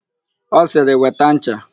Ọ sịrị, "weta ncha"!